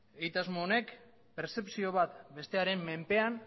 egitasmo honek pertzepzio bat bestearen menpean